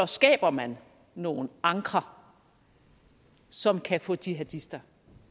skaber man nogle ankre som kan få de jihadister